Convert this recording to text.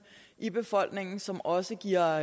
i befolkningen som også giver